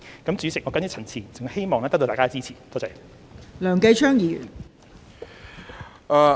代理主席，我謹此陳辭，希望得到大家的支持，多謝。